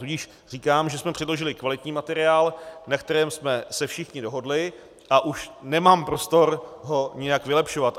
Tudíž říkám, že jsme předložili kvalitní materiál, na kterém jsme se všichni dohodli, a už nemám prostor ho nijak vylepšovat.